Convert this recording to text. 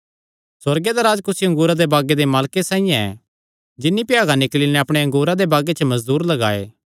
सुअर्ग दा राज्ज कुसी अंगूरा दे बागे दे मालके साइआं ऐ जिन्नी भ्यागा निकल़ी नैं अपणे अंगूरा दे बागे च मजदूर लगाये